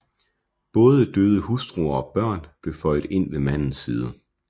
Både døde hustruer og børn blev føjet ind ved mandens side